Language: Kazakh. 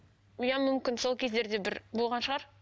иә мүмкін сол кездерде бір болған шығар